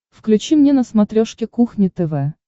включи мне на смотрешке кухня тв